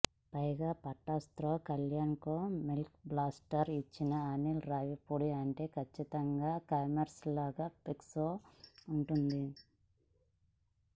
పైగా పటాస్తో కళ్యాణ్రామ్కే బ్లాక్బస్టర్ ఇచ్చిన అనిల్ రావిపూడి అంటే ఖచ్చితంగా కమర్షియల్గా పీక్స్లో వుంటుంది